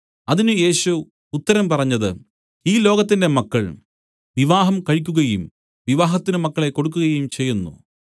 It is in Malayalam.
അതിന് യേശു ഉത്തരം പറഞ്ഞത് ഈ ലോകത്തിന്റെ മക്കൾ വിവാഹം കഴിക്കുകയും വിവാഹത്തിന് മക്കളെ കൊടുക്കുകയും ചെയ്യുന്നു